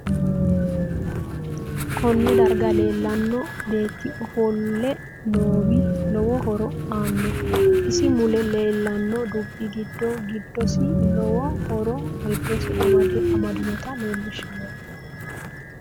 Konne darga leelanno beeti ofolle noowi lowo horo aano isi mule leelanno dubbi giddo giddsi lowo horo giddosi amadinota leelishanno